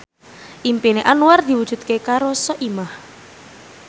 impine Anwar diwujudke karo Soimah